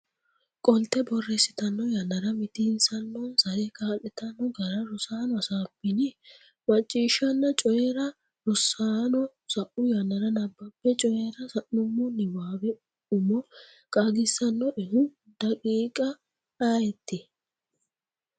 qolte borreessitanno yannara mitiinsannonsare kaa’lantanno gara Rosaano hasaabbini? Macciishshanna Coyi’ra Rosaano, sa’u yannara nabbambe Coyi’ra sa’nummo niwaawe umo qaagissannoehu daqiiqa ayeeti?